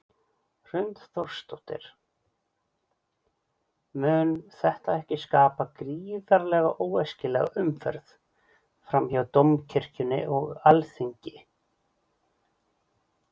Hrund Þórsdóttir: Mun þetta ekki skapa gríðarlega óæskilega umferð fram hjá Dómkirkjunni og Alþingi?